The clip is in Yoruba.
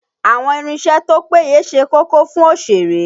Àwọn irinṣẹ́ tó péye ṣe kókó fún òṣèré